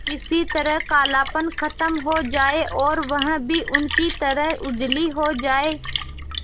किसी तरह कालापन खत्म हो जाए और वह भी उनकी तरह उजली हो जाय